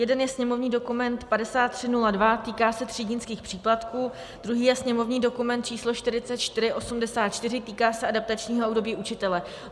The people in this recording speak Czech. Jeden je sněmovní dokument 5302, týká se třídnických příplatků, druhý je sněmovní dokument číslo 4484, týká se adaptačního období učitele.